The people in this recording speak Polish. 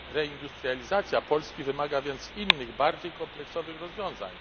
Reindustrializacja Polski wymaga więc innych, bardziej kompleksowych rozwiązań.